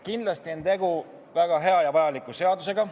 Kindlasti on tegu väga hea ja vajaliku seadusega.